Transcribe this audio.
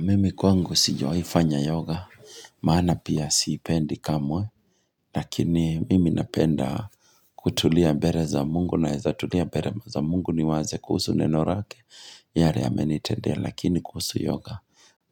Mimi kwangu sijiwaifanya yoga, maana pia siipendi kamwe, lakini mimi napenda kutulia mbere za mungu naeza tulia mbere za mungu niwaze kuhusu neno rake, yale amenitendea lakini kuhusu yoga